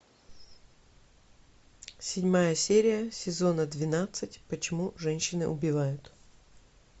седьмая серия сезона двенадцать почему женщины убивают